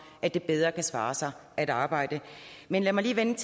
at det bedre kan svare sig at arbejde men lad mig lige vende